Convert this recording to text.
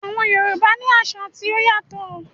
Àwọn Yorùbá ní àṣà tí ó yàtọ̀